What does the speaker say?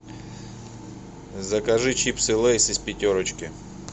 закажи чипсы лейс из пятерочки